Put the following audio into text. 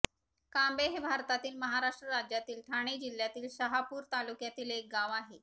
कांबे हे भारतातील महाराष्ट्र राज्यातील ठाणे जिल्ह्यातील शहापूर तालुक्यातील एक गाव आहे